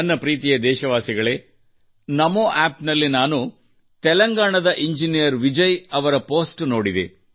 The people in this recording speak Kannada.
ನನ್ನ ಪ್ರೀತಿಯ ದೇಶವಾಸಿಗಳೇ NaMoApp ನಲ್ಲಿ ನಾನು ತೆಲಂಗಾಣದ ಇಂಜಿನಿಯರ್ ವಿಜಯ್ ಅವರ ಪೋಸ್ಟ್ ನೋಡಿದೆ